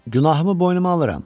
Günahımı boynuma alıram.